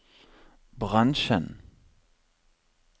bransjen